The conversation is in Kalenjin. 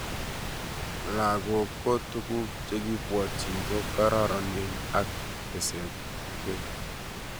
langok ko tuguk chekipwatchin ko kararanen ako tesaksei